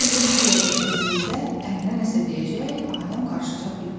Elə bildim bu dəqiqə Dilrubə ərinə nəsə deyəcək, aləm qarışacaq bir-birinə.